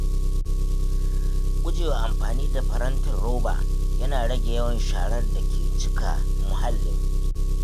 Gujewa amfani da farantin roba yana rage yawan sharar da ke cika muhalli.